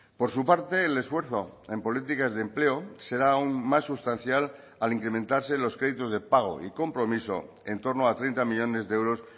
por su parte el esfuerzo en políticas de empleo será aún más sustancial al incrementarse los créditos de pago y compromiso en torno a treinta millónes de euros